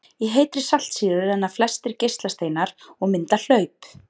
Í heitri saltsýru renna flestir geislasteinar og mynda hlaup.